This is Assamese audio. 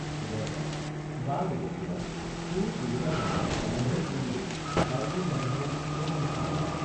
সুদৰ্শন—বাৰু বপুৰা তোৰ তিৰোতাজনী তেনে হল বুলিয়েই আটাইবোৰ তেনে হব বুলি কিয় ভাবিছ?